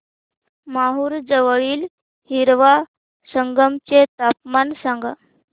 माहूर जवळील हिवरा संगम चे तापमान सांगा